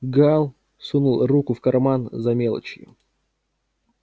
гаал сунул руку в карман за мелочью